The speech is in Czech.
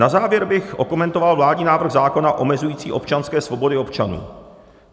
Na závěr bych okomentoval vládní návrh zákona omezující občanské svobody občanů.